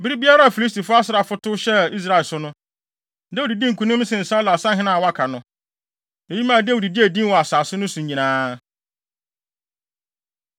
Bere biara a Filistifo asraafo tow hyɛɛ Israel so no, Dawid dii nkonim sen Saulo asahene a wɔaka no. Eyi maa Dawid gyee din wɔ asase no so nyinaa.